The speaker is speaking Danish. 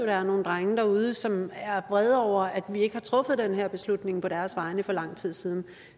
er nogle drenge derude som er vrede over at vi ikke har truffet den her beslutning på deres vegne for lang tid siden